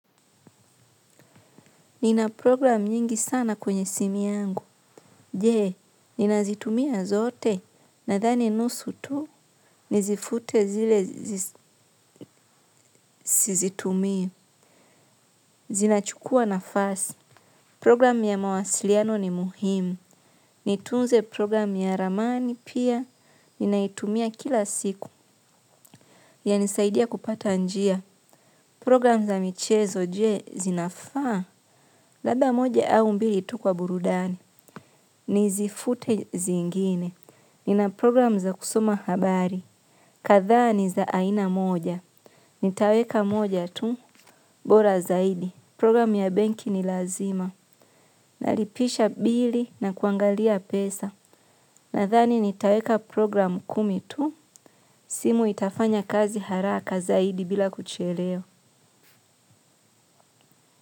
Nina program nyingi sana kwenye simu yangu. Je, ninazitumia zote? Nadhani nusu tu. Nizifute zile sizitumii. Zinachukua nafasi. Program ya mawasiliano ni muhimu. Nitunze program ya ramani pia. Ninaitumia kila siku. Yanisaidia kupata njia. Program za michezo je, zinafaa? Labda moja au mbili tu kwa burudani. Nizifute zingine. Nina program za kusoma habari. Kadhaa ni za aina moja. Nitaweka moja tu, bora zaidi. Program ya benki ni lazima. Nalipisha bili na kuangalia pesa. Nadhani nitaweka program kumi tu. Simu itafanya kazi haraka zaidi bila kuchelewa.